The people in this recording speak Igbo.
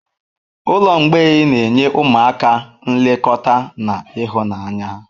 Ụlọ mgbei na-enye ụmụaka nlekọta na ịhụnanya.